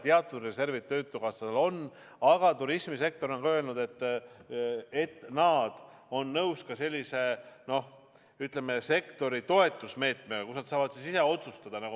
Teatud reservid töötukassal on, aga turismisektor on öelnud, et nad on nõus ka sellise sektori toetusmeetmega, kus nad saavad ise otsustada.